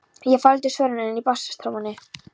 Ég faldi svörin inni í bassatrommunni.